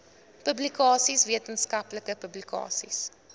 publikasies wetenskaplike publikasies